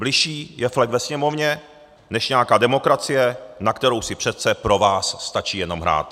Bližší je flek ve Sněmovně než nějaká demokracie, na kterou si přece pro vás stačí jenom hrát.